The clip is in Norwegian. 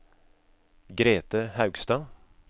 Grethe Haugstad